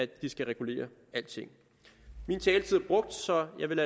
de skal regulere alting min taletid er brugt så jeg vil